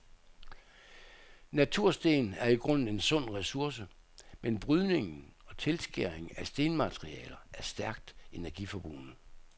Natursten er i grunden en sund ressource, men brydning og tilskæring af stenmaterialer er stærkt energiforbrugende.